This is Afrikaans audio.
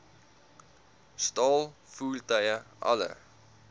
staal voertuie alle